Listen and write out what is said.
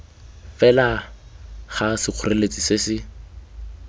fela ga sekgoreletsi se se